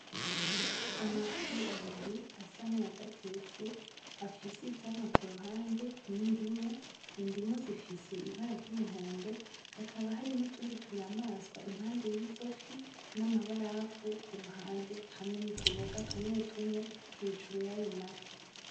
Amafi abiri asank’ayadatetse afise ivyamwa kuruhande nk’indimu ifise ibara ry’umuhondo hakaba hari n’utundi tunyamaswa y’izofi n’amabarafu kuruhande n’utuboga tumwetumwe hejuru yayo mafi.